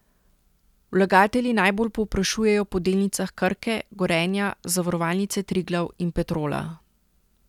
Vlagatelji najbolj povprašujejo po delnicah Krke, Gorenja, Zavarovalnice Triglav in Petrola.